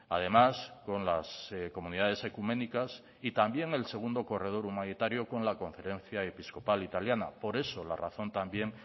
además con las comunidades ecuménicas y también el segundo corredor humanitario con la conferencia episcopal italiana por eso la razón también